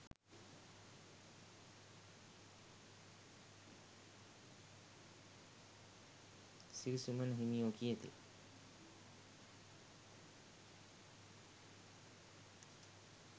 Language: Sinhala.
සිරිසුමන හිමියෝ කියති.